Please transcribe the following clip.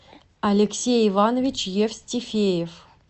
алексей иванович евстифеев